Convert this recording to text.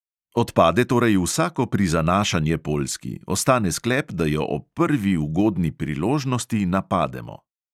Odpade torej vsako prizanašanje poljski, ostane sklep, da jo ob prvi ugodni priložnosti napademo.